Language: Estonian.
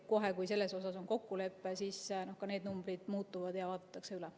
Kohe, kui selles on kokkulepe, need numbrid muutuvad ja need vaadatakse üle.